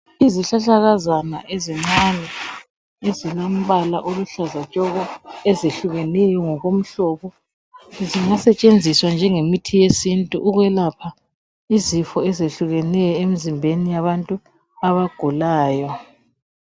Izihlahlakazana ezincane ezilombala oluhlaza tshoko ezehlukeneyo ngokomhlobo zingasetshenziswa njengemithi yesintu ukwelapha izifo ezehlukeneyo emizimbeni yabantu abagulayo